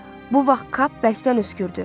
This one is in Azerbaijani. Bu vaxt kap bərkdən öskürdü.